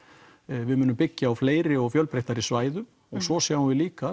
við munum byggja á fleiri og fjölbreyttari svæðum og svo sjáum við líka